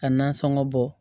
Ka nasɔngɔ bɔ